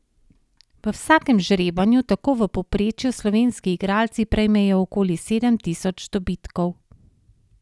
V vsakem žrebanju tako v povprečju slovenski igralci prejmejo okoli sedem tisoč dobitkov.